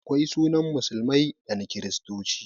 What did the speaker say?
Akwai sunan musulmai da na kiristoci